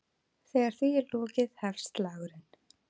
Þegar því er lokið hefst slagurinn.